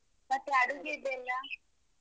ಮತ್ತೆ ಅಡುಗೆಯದ್ದೆಲ್ಲ?